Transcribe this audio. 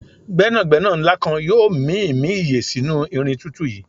gbénàgbénà nla kan yoo mimi iye sinu irin tutu yii